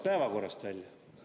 Päevakorrast?